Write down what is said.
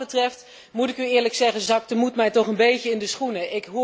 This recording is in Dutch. Wat dat betreft, moet ik u eerlijk zeggen, zakt de moed mij toch een beetje in de schoenen.